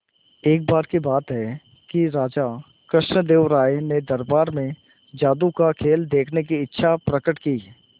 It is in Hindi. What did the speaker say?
एक बार की बात है कि राजा कृष्णदेव राय ने दरबार में जादू का खेल देखने की इच्छा प्रकट की